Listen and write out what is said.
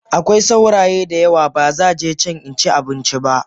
Akwai sauraye dayawa bazaje can inci abinci ba.